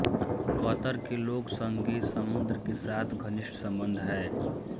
Qatar के लोक संगीत समुद्र के साथ घनिष्ठ संबंध है